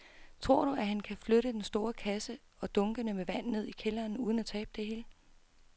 Tror du, at han kan flytte den store kasse og dunkene med vand ned i kælderen uden at tabe det hele?